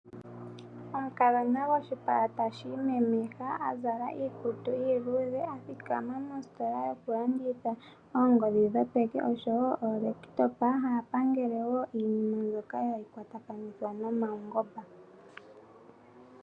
Omukadhona goshipala ta shi imemeha azala iikutu iiludhe athikama mositola yokulanditha oongodhi dhopeke osho wo ookompiuta, ha ya pangele iinima mbyoka ha yi kwatakanitha nomaungomba.